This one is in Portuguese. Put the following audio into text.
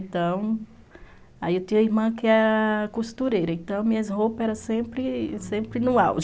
Então, aí eu tinha uma irmã que era costureira, então minhas roupas eram sempre no auge.